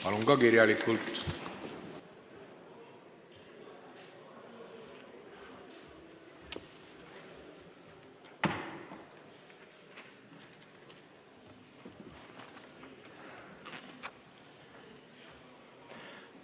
Palun ka kirjalikult!